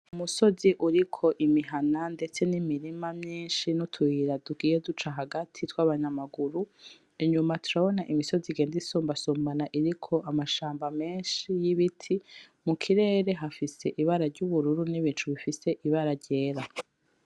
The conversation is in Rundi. Umusozi uriko imihana ndetse n'imirima myinshi n'utuyira tugiye duca hagati tw'abanyamaguru, inyuma turabona imisozi igenda isumbasumbana iriko amshamba menshi y'ibiti, mu kirere hafise ibara ry'ubururu n'ibicu bifise ibara ryera.